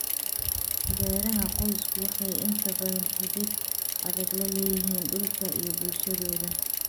Beeraha qoysku waxay inta badan xidhiidh adag la leeyihiin dhulka iyo bulshadooda.